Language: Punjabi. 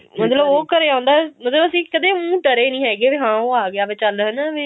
ਮਤਲਬ ਉਹ ਘਰੇ ਆਉਂਦਾ ਮਤਲਬ ਵੀ ਅਸੀਂ ਕਦੇ ਊਂ ਡਰੇ ਨਹੀਂ ਹੈਗੇ ਵੀ ਹਾਂ ਉਹ ਆ ਗਿਆ ਵੀ ਚੱਲ ਹਨਾ ਵੀ